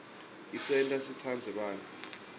isenta sitsandze bantfu